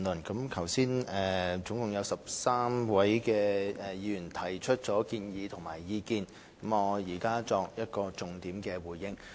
剛才共13位議員提出建議及意見，我現作重點回應。